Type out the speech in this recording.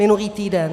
Minulý týden.